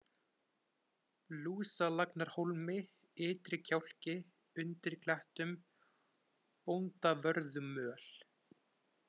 Lúsalagnarhólmi, Ytri-Kjálki, Undir klettum, Bóndavörðumöl